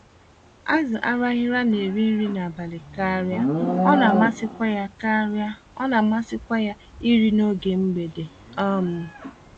Azụ Araghịra na-eri nri n'abalị karịa ọnamasịkwa ya karịa ọnamasịkwa ya iri n'oge mgbede. um